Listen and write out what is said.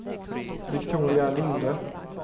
Viktoria Linde